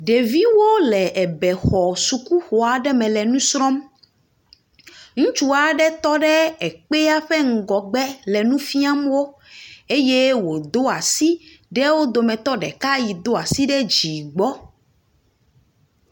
Ɖeviwole ebexɔ sukuxɔ aɖe me le nu srɔ̃m. Ŋutsu aɖe tɔ ɖe ekpea ƒe ŋgɔgbe le nu fiam wo eye wodo asi ɖe wo dometɔ ɖeka yi do asi ɖe dzi gbɔ.